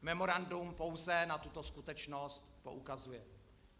Memorandum pouze na tuto skutečnost poukazuje.